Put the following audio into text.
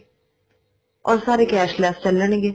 or ਸਾਰੇ cashless ਚੱਲਣਗੇ